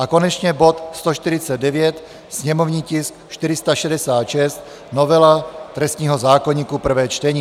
a konečně bod 149, sněmovní tisk 466 - novela trestního zákoníku, prvé čtení.